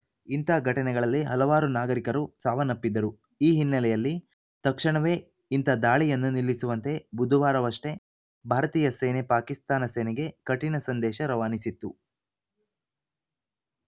ಇಂಥ ಘಟನೆಗಳಲ್ಲಿ ಹಲವಾರು ನಾಗರಿಕರು ಸಾವನ್ನಪ್ಪಿದ್ದರು ಈ ಹಿನ್ನೆಲೆಯಲ್ಲಿ ತಕ್ಷಣವೇ ಇಂಥ ದಾಳಿಯನ್ನು ನಿಲ್ಲಿಸುವಂತೆ ಬುಧವಾರವಷ್ಟೇ ಭಾರತೀಯ ಸೇನೆ ಪಾಕಿಸ್ತಾನ ಸೇನೆಗೆ ಕಠಿಣ ಸಂದೇಶ ರವಾನಿಸಿತ್ತು